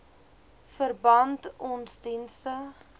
verband ons dienste